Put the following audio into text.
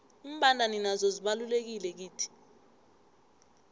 imbandana nazo zibalulekile kithi